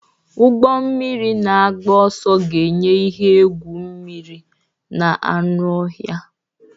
Ụgbọ mmiri na-agba ọsọ ga-enye ihe egwu mmiri na anụ ọhịa.